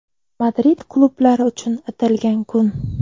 Madrid klublari uchun atalgan kun.